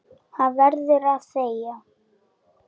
Hann verður að þegja.